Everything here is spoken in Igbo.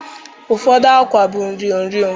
Ụfọdụ akwa bụ nro nro